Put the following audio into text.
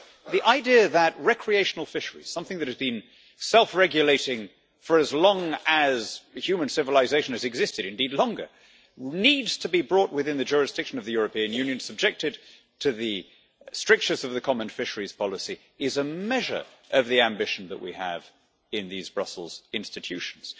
The idea that recreational fisheries something that has been self-regulating for as long as human civilisation has existed, or indeed longer needs to be brought within the jurisdiction of the European Union and subjected to the strictures of the common fisheries policy is a measure of the ambition that we have in these Brussels institutions.